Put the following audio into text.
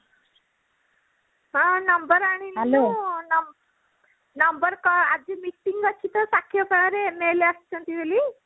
ହଁ number ଆଣିଲୁ number କଣ ଆଜି meeting ଅଛି ତ ସାକ୍ଷୀଗୋପାଳରେ ନେଇଗଲେ ଆସିଛନ୍ତି ବୋଲି